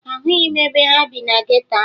Ahụghị m ebe ha bi na geto ahụ